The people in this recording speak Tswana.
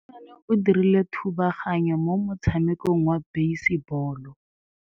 Mosimane o dirile thubaganyô mo motshamekong wa basebôlô.